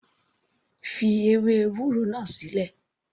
Fi ewé ewúro náà sílẹ̀.